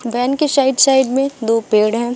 Van के side side में दो पेड़ है।